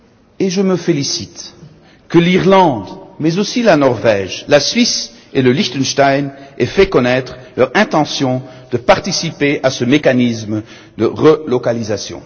Et je me félicite que l'Irlande, mais aussi la Norvège, la Suisse et le Liechtenstein aient fait connaître leur intention de participer à ce mécanisme de relocalisation.